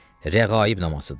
Rəğaib namazıdır.